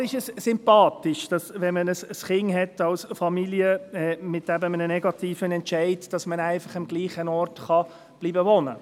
Klar, es ist sympathisch, dass man als Familie mit Kind und mit einem negativen Entscheid am gleichen Ort wohnen bleiben kann.